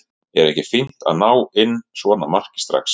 Er ekki fínt að ná inn svona marki strax?